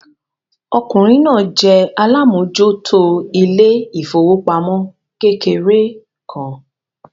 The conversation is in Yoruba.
Ọkùnrin náà jẹ́ alámòjútó ilé ìfowópamọ́ kékeré kan.